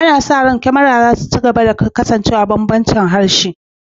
Ana sa ran Kamaru za ta ci gaba da kasancewa da bambancin harshe